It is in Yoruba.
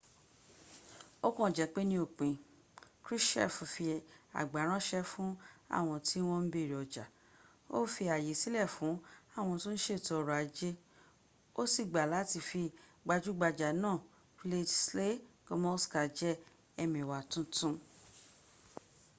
o kàn jẹ́ pé ni òpin krushchev fi àgbá ráṣẹ́ fún àwọn tí wọ́n ń béèrè ọjà ó fi ààyè sílẹ̀ fún àwọn ohun th iètò ọrọ̀ ajé fẹ́ ó sì gbà láti fi gbajúgbajà náà wladyslaw gomulka jẹ ẹmẹ̀wà tuntu